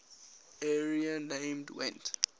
area named gwent